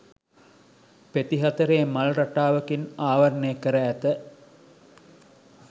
පෙති හතරේ මල් රටාවකින් ආවරණය කර ඇත.